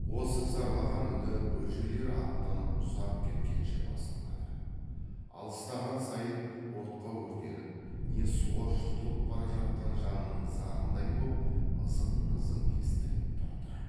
осы зарлаған үні бөжейлер аттанып ұзап кеткенше басылмады алыстаған сайын отқа өртеніп не суға жұтылып бара жатқан жанның зарындай боп ызың ызың естіліп тұрды